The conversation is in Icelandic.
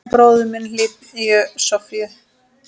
Og bróðir minn hlýju Sofíu.